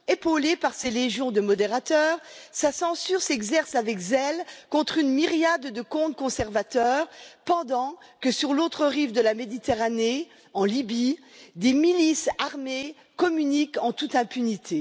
Épaulé par ses légions de modérateurs, sa censure s'exerce avec zèle contre une myriade de comptes conservateurs pendant que sur l'autre rive de la Méditerranée, en Libye, des milices armées communiquent en toute impunité.